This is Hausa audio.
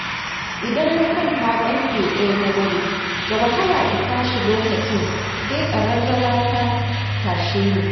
Idan na kwanta ƙarfe ɗaya na dare, da wahala in tashi lokacin sai ƙaraurawa ta tashe ni.